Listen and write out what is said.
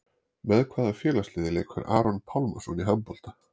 Með hvaða félagsliði leikur Aron Pálmarsson í handbolta?